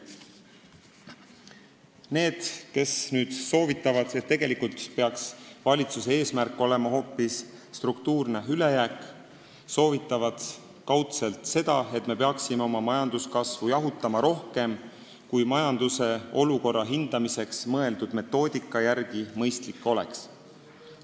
Need, kes soovitavad, et tegelikult peaks valitsuse eesmärk olema hoopis struktuurne ülejääk, soovitavad kaudselt seda, et me peaksime oma majanduskasvu jahutama rohkem, kui majanduse olukorra hindamiseks mõeldud metoodika järgi mõistlik oleks.